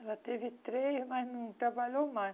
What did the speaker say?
Ela teve três, mas não trabalhou mais.